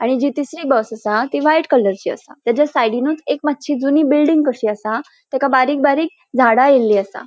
आणि जी तिसरी बस असा ती व्हाइट कलरची असा त्याज्या सायडीनुच एक मात्शी जुनी बिल्डिंग कशी असा ताका बारीक बारीक झाडा येयल्ली असा.